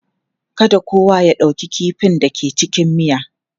Kada kowa ya ɗauki kifin da ke cikin miya.